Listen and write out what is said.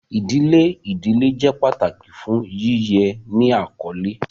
Idile idile jẹ pataki fun yiyẹ ni akọle.